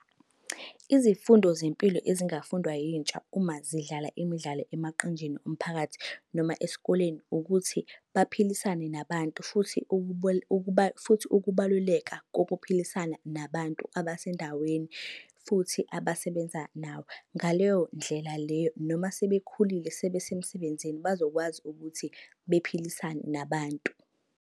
Izifundo zempilo ezingafundwa yintsha uma zidlala imidlalo emaqenjini omphakathi noma esikoleni, ukuthi baphilisane nabantu futhi futhi ukubaluleka kokuphilisana nabantu abasendaweni futhi abasebenza nawo. Ngaleyo ndlela leyo, noma sebekhulile sebe semsebenzini bazokwazi ukuthi bephilisane nabantu.